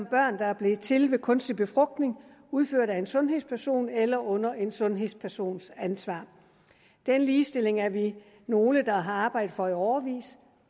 børn der er blevet til ved kunstig befrugtning udført af en sundhedsperson eller under en sundhedspersons ansvar denne ligestilling er vi nogle der har arbejdet for i årevis